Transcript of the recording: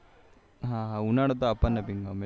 હા હા ઉનાળોતો આપણ નેભી ગમે